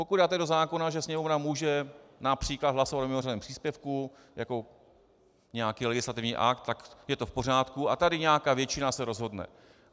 Pokud dáte do zákona, že Sněmovna může například hlasovat o mimořádném příspěvku jako nějaký legislativní akt, tak je to v pořádku a tady nějaká většina se rozhodne.